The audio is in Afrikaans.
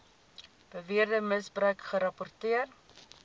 beweerde misbruik gerapporteer